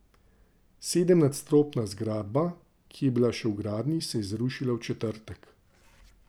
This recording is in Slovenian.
Sedemnadstropna zgradba, ki je bila še v gradnji, se je zrušila v četrtek.